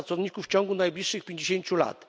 pracowników w ciągu najbliższych 50 lat.